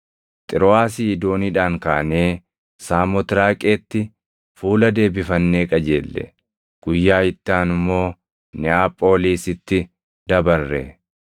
Xirooʼaasii dooniidhaan kaanee Saamotraaqeetti fuula deebifannee qajeelle; guyyaa itti aanu immoo Neʼaphoolisitti dabarre.